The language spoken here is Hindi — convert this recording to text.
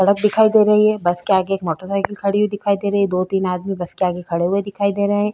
सड़क दिखाई दे रही है। बस के आगे एक मोटरसाइकिल खड़ी हुई दिखाई दे रही है। दो तीन आदमी बस के आगे खड़े हुए दिखाई दे रहे हैं।